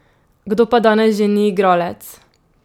Kdo pa danes že ni igralec?